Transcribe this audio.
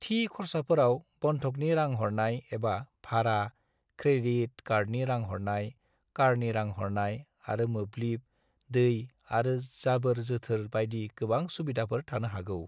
थि खर्साफोराव बंधकनि रां हरनाय एबा भारा, क्रेडिट कार्डनि रां हरनाय, कारनि रां हरनाय, आरो मोब्लिब, दै आरो जाबोर-जोथोर बायदि गोनां सुविधाफोर थानो हागौ।